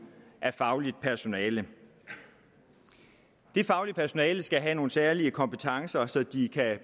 af fagligt personale det faglige personale skal have nogle særlige kompetencer så de